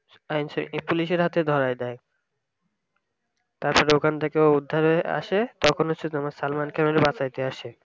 police এর হাতে ধরাই দেই তারপরে ওখান থেকে উদ্ধার হয়ে আসে তখন হচ্ছে তোমার salman khan ওরে বাঁচাইতে আসে